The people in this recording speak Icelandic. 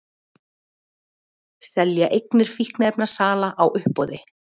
Selja eignir fíkniefnasala á uppboði